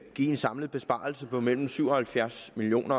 en samlet besparelse på mellem syv og halvfjerds million